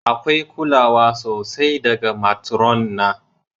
Akwai kulawa sosai daga matron na.